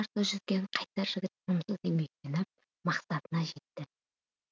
қарсы жүзген қайсар жігіт тынымсыз еңбектеніп мақсатына жетті